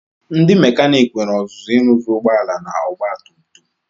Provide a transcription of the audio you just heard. Ndị mekanik nwere ọzụzụ ịrụzi ụgbọala na ogbatumtum.